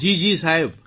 જી જી સાહેબ